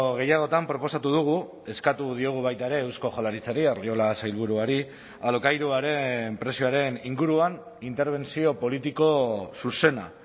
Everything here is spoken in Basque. gehiagotan proposatu dugu eskatu diogu baita ere eusko jaurlaritzari arriola sailburuari alokairuaren prezioaren inguruan interbentzio politiko zuzena